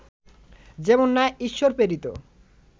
যেমন ন্যায় ঈশ্বরপ্রেরিত